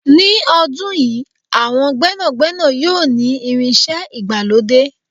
ní ọdún yìí, àwọn gbénàgbénà yíò ni irinṣẹ́ ìgbàlódé